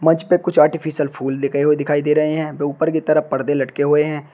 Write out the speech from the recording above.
उसपे कुछ आर्टिफिशियल फूल लगे हुए दिखाई दे रहे हैं व ऊपर की तरफ पर्दे लटके हुए हैं।